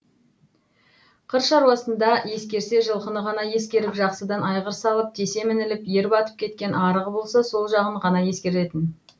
қыр шаруасында ескерсе жылқыны ғана ескеріп жақсыдан айғыр салып тесе мініліп ер батып кеткен арығы болса сол жағын ғана ескеретін